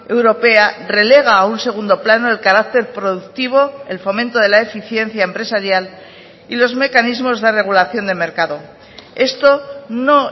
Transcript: europea relega a un segundo plano el carácter productivo el fomento de la eficiencia empresarial y los mecanismos de regulación de mercado esto no